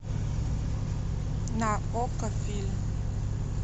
на окко фильм